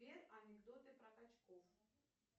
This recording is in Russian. сбер анекдоты про качков